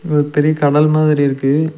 இங்க ஒரு பெரிய கடல் மாதிரி இருக்கு.